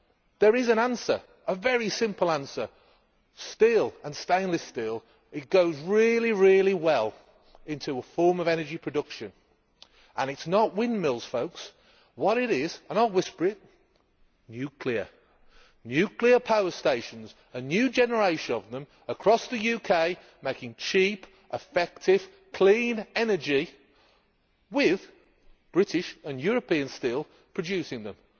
There is a very simple answer. Steel and stainless steel goes really well into a form of energy production and it is not windmills, folks. What it is and I will whisper it is nuclear nuclear power stations, a new generation of them, across the UK making cheap, effective clean energy with British and European steel producing them.